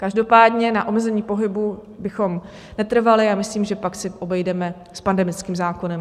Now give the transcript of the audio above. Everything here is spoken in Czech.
Každopádně na omezení pohybu bychom netrvali a myslím, že pak se obejdeme s pandemickým zákonem.